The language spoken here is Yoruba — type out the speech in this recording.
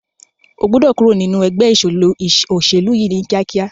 O gbọ́dọ̀ kúrò nínu ẹgbẹ́ òṣèlú yìí ní kíákíá!